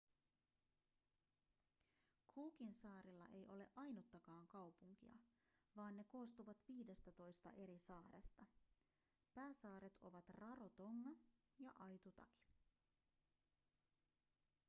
cookinsaarilla ei ole ainuttakaan kaupunkia vaan ne koostuvat viidestätoista eri saaresta pääsaaret ovat rarotonga ja aitutaki